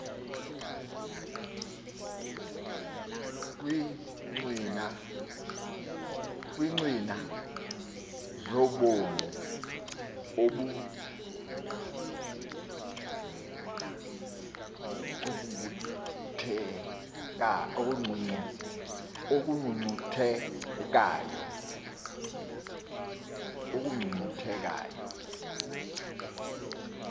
kwiincwina zobomi obungcunguthekayo